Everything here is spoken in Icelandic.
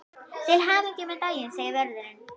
Til hamingju með daginn segir vörðurinn.